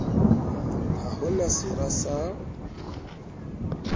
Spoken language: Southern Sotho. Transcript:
ha ho na sera sa